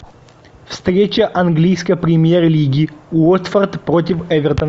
встреча английской премьер лиги уотфорд против эвертон